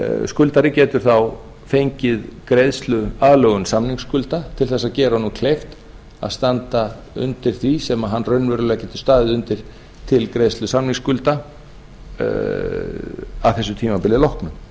skuldari getur þá fengið greiðsluaðlögun samningsskulda til að gera honum kleift að standa undir því sem hann raunverulega getur staðið undir til greiðslu samningsskulda að þessu tímabili loknu